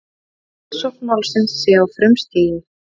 Rannsókn málsins sé á frumstigi